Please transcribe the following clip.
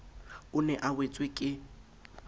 o ne a wetswe ke